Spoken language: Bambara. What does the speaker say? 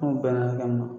N'u bɛnna hakɛ min ma